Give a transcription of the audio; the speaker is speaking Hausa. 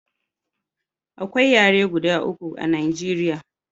Akwai yare guda uku a Najeriya